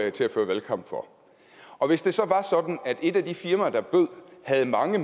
af til at føre valgkamp for og hvis det så var sådan at et af de firmaer der bød havde mange